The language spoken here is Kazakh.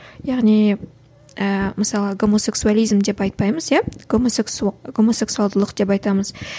яғни ііі мысалы гомосексуализм деп айтпаймыз иә гомосексуалдылық деп айтамыз